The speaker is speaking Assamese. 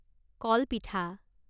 কল পিঠা